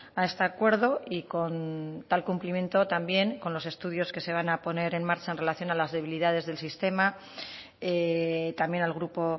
a este acuerdo y con tal cumplimiento también con los estudios que se van a poner en marcha en relación a las debilidades del sistema también al grupo